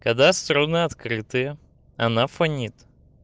когда струны открытые она фонит